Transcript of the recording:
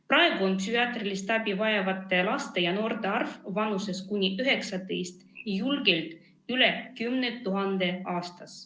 Praegu on psühhiaatrilist abi vajavate laste ja noorte arv kuni 19-aastaste hulgas julgelt üle 10 000 aastas.